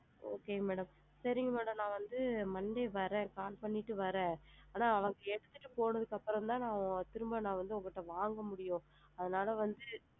Okay madam சரிங்க madam monday வந்து நான் வரேன் call பண்ணிட்டு வரேன், ஏன்னா அவுங்க எடுத்துட்டு போனதுக்கு அப்பறம் தான் திரும்ப வந்து நான் உங்கள்ட்ட வந்து வாங்க முடியும் அதனால வந்து,